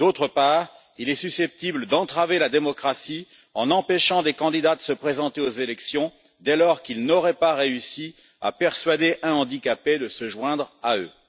Par ailleurs, il est susceptible d'entraver la démocratie en empêchant des candidats de se présenter aux élections dès lors qu'ils n'auraient pas réussi à persuader un handicapé de se joindre à eux.